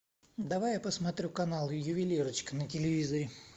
давай я посмотрю канал ювелирочка на телевизоре